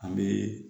An bɛ